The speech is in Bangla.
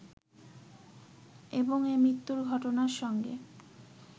এবং এ মৃত্যুর ঘটনার সঙ্গে